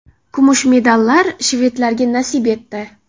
Kumush medallar shvedlarga nasib etdi.